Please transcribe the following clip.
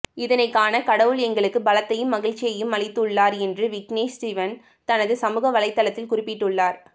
இதனை காண கடவுள் எங்களுக்கு பலத்தையும் மகிழ்ச்சியையும் அளித்து உள்ளார் என்று விக்னேஷ் சிவன் தனது சமூக வலைத்தளத்தில் குறிப்பிட்டுள்ளார்